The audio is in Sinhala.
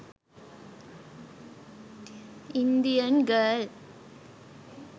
indian girl